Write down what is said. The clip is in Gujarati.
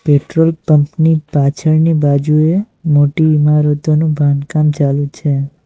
પેટ્રોલ પંપ ની પાછળની બાજુએ મોટી ઇમારતનો બાંધકામ ચાલુ છે.